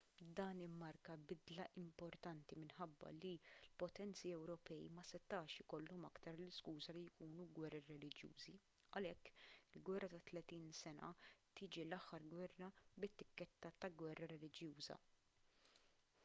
dan immarka bidla importanti minħabba li l-potenzi ewropej ma setax ikollhom aktar l-iskuża li jkunu gwerer reliġjużi għalhekk il-gwerra ta' tletin sena tiġi l-aħħar gwerra bit-tikketta ta' gwerra reliġjuża